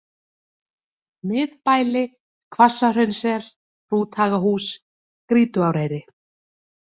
Miðbæli, Hvassahraunssel, Hrúthagahús, Grýtuáreyri